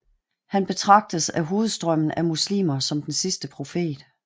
Han betragtes af hovedstrømmen af muslimer som den sidste profet